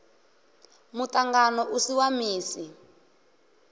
muṱangano u si wa misi